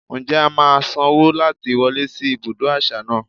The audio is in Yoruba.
Ǹjẹ́ a máa sanwó láti wọlé sí ibùdó àṣà náà?